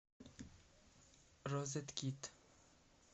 розеткит